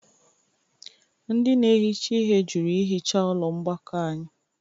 Ndị na-ehicha ihe jụrụ ihicha ụlọ mgbakọ anyị